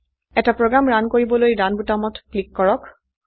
এটা program run কৰিবলৈ run বোতামত ক্লিক কৰক